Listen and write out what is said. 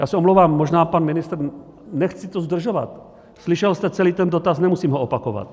Já se omlouvám, možná pan ministr - nechci to zdržovat - slyšel jste celý ten dotaz, nemusím ho opakovat?